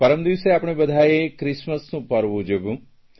પરમદિવસે આપણે બધાંએ ક્રિસમસનું પર્વ ઉજવ્યું